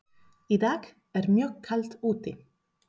Í dag er mjög kalt úti.